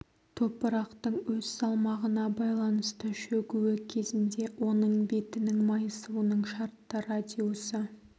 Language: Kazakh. топырақтың өз салмағына байланысты шөгуі кезінде оның бетінің майысуының шартты радиусы